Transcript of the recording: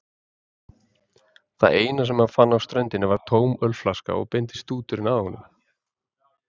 Það eina sem hann fann á ströndinni var tóm ölflaska og beindist stúturinn að honum.